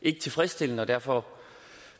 er tilfredsstillende derfor